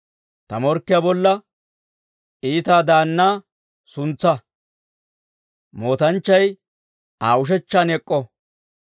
Ta morkkiyaa bolla iita daannaa suntsaa; mootanchchay Aa ushechchan ek'k'o.